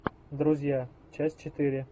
друзья часть четыре